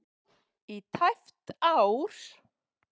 í tæpt ár.